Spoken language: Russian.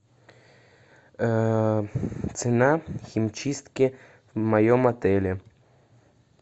цена химчистки в моем отеле